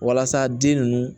Walasa den ninnu